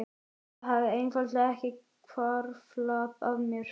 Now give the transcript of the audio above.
Það hafði einfaldlega ekki hvarflað að mér.